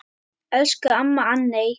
Elsku amma Anney.